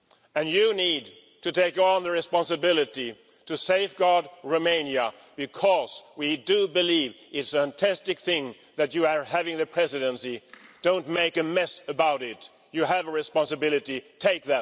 And you need to take on the responsibility of safeguarding Romania, because we believe it is a fantastic thing that you are having the Presidency. Don't make a mess of it, you have a responsibility, take